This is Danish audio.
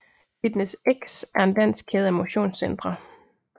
FitnessX er en dansk kæde af motionscentre